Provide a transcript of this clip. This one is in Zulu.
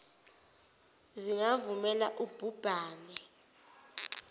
zingavumeli ub hubhane